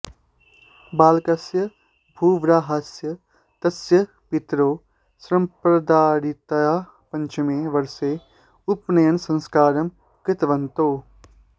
बालकस्य भूवराहस्य तस्य पितरौ सम्प्रदायरीत्या पञ्चमे वर्षे उपनयनसंस्कारं कृतवन्तौ